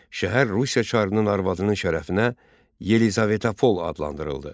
Şəhər Rusiya çarının arvadının şərəfinə Yelizavetapol adlandırıldı.